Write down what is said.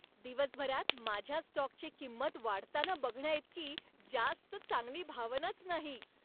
दिवसभरात माझ्या स्टॉकची किंमत वाढताना बघण्याइतकी जास्त चांगली भावनाच नाही.